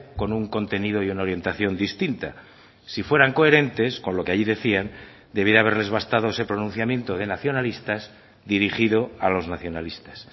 con un contenido y una orientación distinta si fueran coherentes con lo que ahí decían debiera haberles bastado ese pronunciamiento de nacionalistas dirigido a los nacionalistas